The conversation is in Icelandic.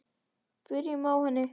Byrjum á henni.